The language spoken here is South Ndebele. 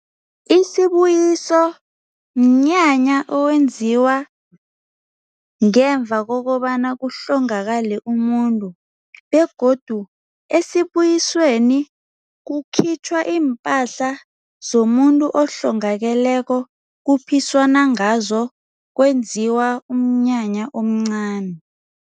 Isibuyiso mnyanya owenziwa ngemva kokobana kuhlongakale umuntu begodu esibuyisweni kukhitjhwa iimpahla zomuntu ohlongakeleko kuphiswana ngazo kwenziwa umnyanya omncani.